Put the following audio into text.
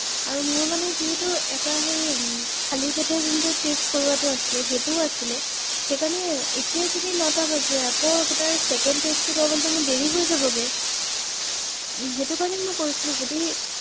হয় হয় হয় হয় হয় হয় আপুনি ঠিকেই ৷